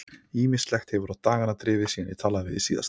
Ýmislegt hefur á dagana drifið síðan ég talaði við þig síðast.